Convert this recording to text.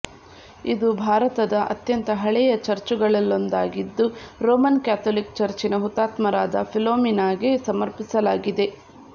ಇದು ಭಾರತದ ಅತ್ಯಂತ ಹಳೆಯ ಚರ್ಚುಗಳಲ್ಲೊಂದಾಗಿದ್ದು ರೋಮನ್ ಕ್ಯಾಥೊಲಿಕ್ ಚರ್ಚಿನ ಹುತಾತ್ಮರಾದ ಫಿಲೋಮಿನಾಗೆ ಸಮರ್ಪಿಸಲಾಗಿದೆ